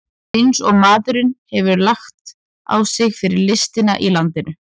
Eins og maðurinn hefur lagt á sig fyrir listina í landinu!